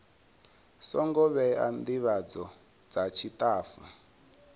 songo vhewa ndivhadzo dza tshitafu